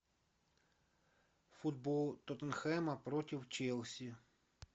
футбол тоттенхэма против челси